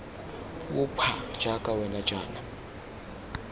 puo pha jaaka wena jaana